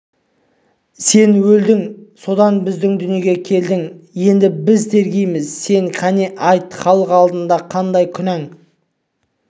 сен өлдің содан біздің дүниеге келдің енді біз тергейміз сені қане айт халық алдында қандай күнәң